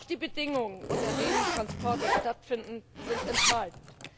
Auch die Bedingungen, unter denen Transporte stattfinden, sind entscheidend.